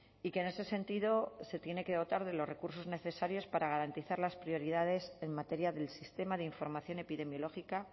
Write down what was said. y que en ese sentido se tiene que dotar de los recursos necesarios para garantizar las prioridades en materia del sistema de información epidemiológica